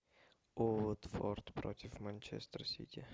уотфорд против манчестер сити